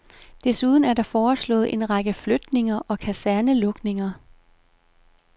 Desuden er der foreslået en række flytninger og kasernelukninger.